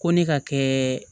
Ko ne ka kɛ